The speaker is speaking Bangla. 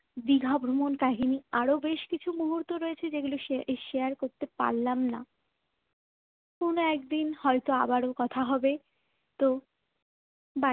দীঘা ভ্রমণ কাহিনী আরও বেশ কিছু মুহূর্ত ছিল যেগুলো share করতে পারলাম না কোন একদিন হয়তো আবারো কথা হবে তো বা